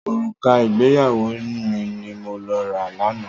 Òrùka ìgbéyàwó mi ni mo rà lánàá.